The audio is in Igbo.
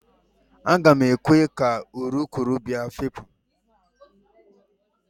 Aga m ekwe ka urukurubụba fepụ